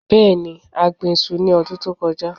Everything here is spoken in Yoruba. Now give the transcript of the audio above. Bẹẹni, a gbin iṣu ni ọdun to kọja